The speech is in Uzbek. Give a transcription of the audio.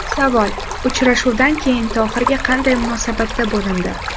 Savol: Uchrashuvdan keyin Tohirga qanday munosabatda bo‘lindi?